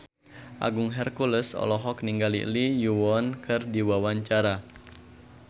Agung Hercules olohok ningali Lee Yo Won keur diwawancara